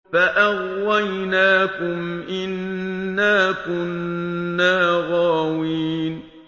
فَأَغْوَيْنَاكُمْ إِنَّا كُنَّا غَاوِينَ